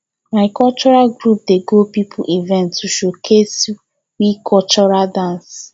my cultural group dey go pipo event to showcase we cultural dance